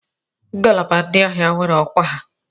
Ngalaba ndị agha niile nwere ọkwa ha.